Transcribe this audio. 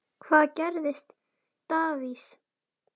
Hvað gerir Davids?